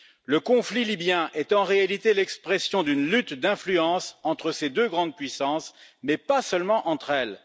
Le conflit libyen est en réalité l'expression d'une lutte d'influences entre ces deux grandes puissances, mais pas seulement entre elles.